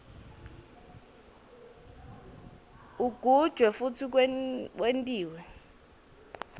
ugujwe futsi wentiwe